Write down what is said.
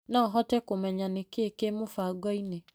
No hote kũmenya nĩkĩĩ kĩ mũbango-inĩ .